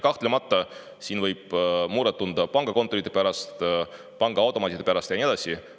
Kahtlemata võib muret tunda pangakontorite pärast, pangaautomaatide pärast ja nii edasi.